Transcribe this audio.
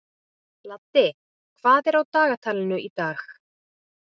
Laddi, hvað er á dagatalinu í dag?